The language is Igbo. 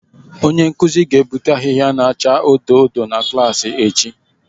Onye nkuzi ga-ebute ahịhịa na-acha odo odo na klaasị echi